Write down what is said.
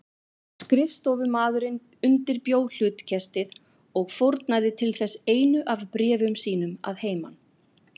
Skrifstofumaðurinn undirbjó hlutkestið og fórnaði til þess einu af bréfum sínum að heiman.